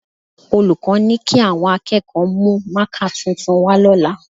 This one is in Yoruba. Olùkọ́ ni kí àwọn akẹ́kọ̀ọ́ mú mákà tuntun wá lọ́la